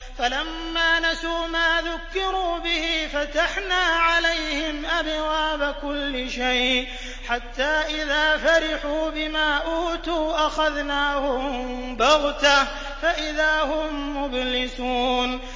فَلَمَّا نَسُوا مَا ذُكِّرُوا بِهِ فَتَحْنَا عَلَيْهِمْ أَبْوَابَ كُلِّ شَيْءٍ حَتَّىٰ إِذَا فَرِحُوا بِمَا أُوتُوا أَخَذْنَاهُم بَغْتَةً فَإِذَا هُم مُّبْلِسُونَ